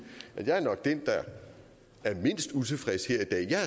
at jeg nok er den der er mindst utilfreds her i dag jeg